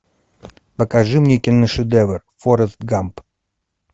покажи мне киношедевр форрест гамп